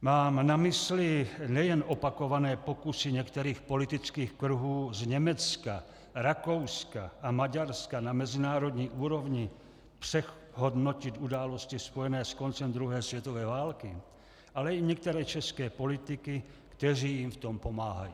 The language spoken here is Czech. Mám na mysli nejen opakované pokusy některých politických kruhů z Německa, Rakouska a Maďarska na mezinárodní úrovni přehodnotit události spojené s koncem druhé světové války, ale i některé české politiky, kteří jim v tom pomáhají.